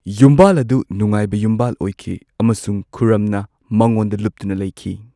ꯌꯨꯝꯕꯥꯟ ꯑꯗꯨ ꯅꯨꯡꯉꯥꯏꯕ ꯌꯨꯝꯕꯥꯜ ꯑꯣꯢꯈꯤ ꯑꯃꯁꯨꯡ ꯈꯨꯔꯔꯝꯅ ꯃꯉꯣꯟꯗ ꯂꯨꯞꯇꯨꯅ ꯂꯩꯈꯤ꯫